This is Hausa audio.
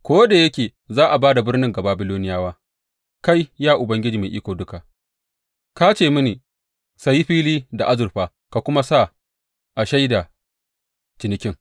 Ko da yake za a ba da birnin ga Babiloniyawa, kai, ya Ubangiji Mai Iko Duka, ka ce mini, Saye fili da azurfa ka kuma sa a shaida cinikin.’